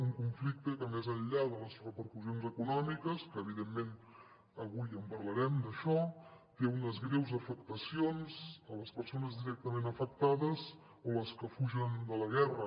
un conflicte que més enllà de les repercussions econòmiques que evidentment avui en parlarem d’això té unes greus afectacions en les persones directament afectades o en les que fugen de la guerra